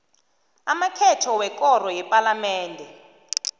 amakhetho wekoro yepalamende